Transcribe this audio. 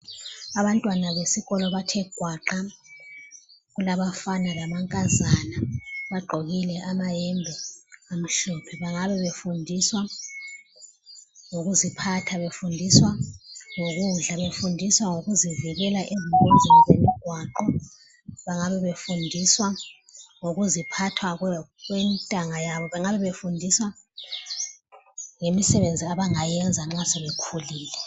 Abantwana besikolo bathe gwaqa kulabafana lamankazana bagqokile amayembe amhlophe bangabe befundiswa ngokuziphatha befundiswa ngokudla befundiswa ngokuzivikela engozini zomgwaqo bangabe befundiswa ngokuziphatha kwentanga yabo bangabe befundiswa ngemisebenzi abangayenza nxa sebekhulile.